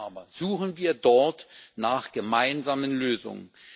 Vor allem aber suchen wir dort nach gemeinsamen Lösungen!